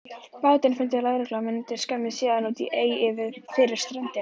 Bátinn fundu lögreglumennirnir skömmu síðar í ey úti fyrir ströndinni.